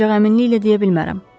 Ancaq əminliklə deyə bilmərəm.